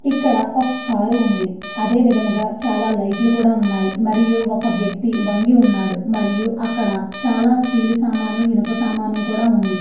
ఇక్కడ ఒక కార్ ఉంది అదే విధముగా ఒక లైట్స్ ఉన్నాయి మరియు అక్కడ ఒక వ్యక్తి వంగి ఉన్నాడు మరియు అక్కడ చాలా స్టీల్ సమన్లు ఇనుప సమన్లు కూడా ఉంది .